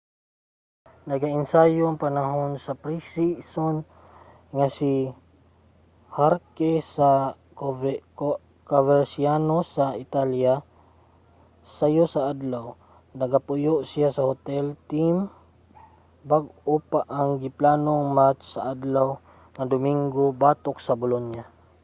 nagaensayo panahon sa pre-season nga training si jarque sa coverciano sa italya sayo sa adlaw. nagapuyo siya sa hotel sa team bag-o pa ang giplanong match sa adlaw nga domingo batok sa bolonia